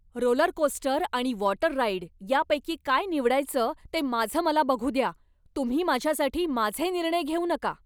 Rollercoaster आणि water ride यापैकी काय निवडायचं ते माझं मला बघू द्या, तुम्ही माझ्यासाठी माझे निर्णय घेऊ नका!